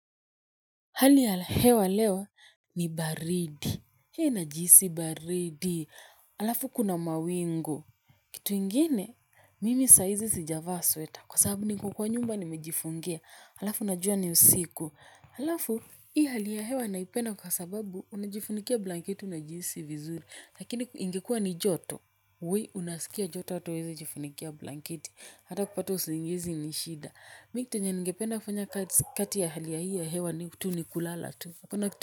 Hali ya hewa leo ni baridi, he! Najihisi baridi, halafu kuna mawingu, kitu ingine, mimi saa hizi sijavaa sweta, kwa sababu niko kwa nyumba nimejifungia, halafu najua ni usiku, alafu hii hali ya hewa naipenda kwa sababu unajifunikia blanketi unajihisi vizuri, lakini ingekua ni joto, we! Unasikia joto hata huwezi jifunikia blanketi, hata kupata usingizi ni shida. Miki chenye ningependa kufanya kati ya hali hii ya hewa ni tu ni kulala tu.